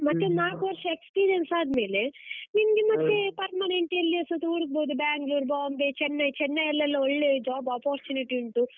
ಮತ್ತೆ ನಾಲ್ಕು ವರ್ಷ experience ಆದ್ಮೇಲೆ, ನಿಂಗೆ ಮತ್ತೆ permanent ಎಲ್ಲಿಯಾದ್ರುಸ ಹುಡುಕ್ಬೋದು Banglore, Bombay, Chennai, Chennai ಲೆಲ್ಲಾ ಒಳ್ಳೆ job opportunity ಉಂಟು.